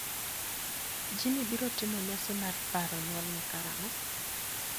Jimmy biro timo nyasi mar paro nyuolne karang'o?